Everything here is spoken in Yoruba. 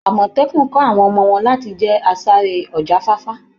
Amọtẹkun kọ́ àwọn ọmọ wọn láti jẹ́ asáré ọ̀jáfáfá.